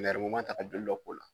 Nɛrɛmuguma ta ka joli dɔ k'o la